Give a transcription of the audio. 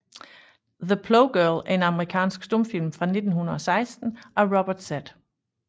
The Plow Girl er en amerikansk stumfilm fra 1916 af Robert Z